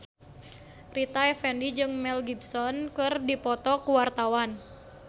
Rita Effendy jeung Mel Gibson keur dipoto ku wartawan